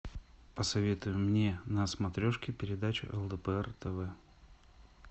посоветуй мне на смотрешке передачу лдпр тв